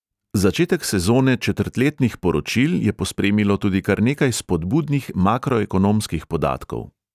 Začetek sezone četrtletnih poročil je pospremilo tudi kar nekaj spodbudnih makroekonomskih podatkov.